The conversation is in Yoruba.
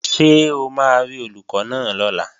Ṣé o máa rí Olùkọ́ náà lọ́la?